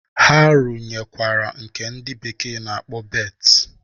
Ha runyekwara nke ndị bekee na-akpọ berth.